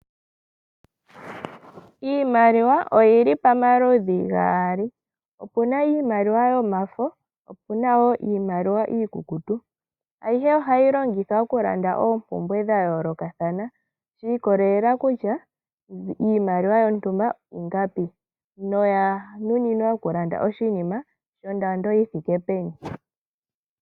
Iimaliwa oyili paludhi gaali, opuna iimaliwa yomafo po opuna woo iimaliwa iikukutu ayihe ohayi longithwa oku landa oompumbwe dha yoolokathana, yiikolelela kutya iimaliwa yontumba ingapi noya nuninwa okulanda oshinima nondando yi thike peni.